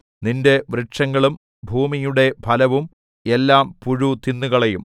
നിന്റെ വൃക്ഷങ്ങളും ഭൂമിയുടെ ഫലവും എല്ലാം പുഴു തിന്നുകളയും